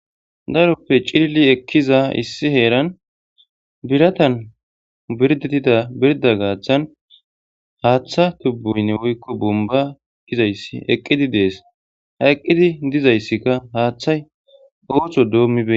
Daroppe cilli ekkiza issi heeran biratan birdettida birda gaaththan haaththa tubboynne woykko bumba edgizayssi eqqidi dees hayqqidi dizayssikka haaththay ooththo doommiben.